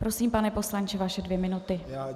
Prosím, pane poslanče, vaše dvě minuty.